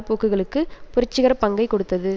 போக்குகளுக்கு புரட்சிகர பங்கை கொடுத்தது